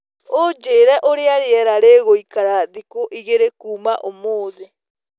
Unjĩre ũrĩa rĩera rĩgũĩkara thĩkũ ĩgĩrĩ kũma ũmũthĩ